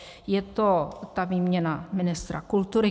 Je to ta výměna ministra kultury.